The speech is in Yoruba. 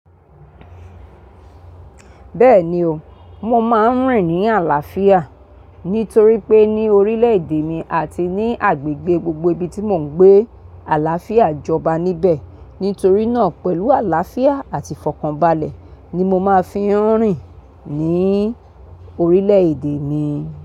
Bẹ́ẹ̀ni o, mo máa ń rìn ní àlàáfíà nítorí pé ní orílẹ̀-èdè mi àti ní agbègbè gbogbo ibi tí mo ń gbé àlàáfíà jọba níbẹ̀. Nítorí náà pẹ̀lú àlàáfíà àti ìfọ̀kànbalẹ̀ ni mo máa fi ń rìn ní orílẹ̀-èdè mi.